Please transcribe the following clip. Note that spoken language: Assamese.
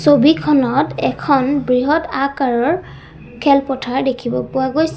ছবিখনত এখন বৃহৎ আকাৰৰ খেলপথাৰ দেখিব পোৱা গৈছে।